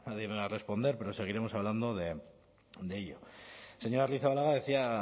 a responder pero seguiremos hablando de ello señora arrizabalaga decía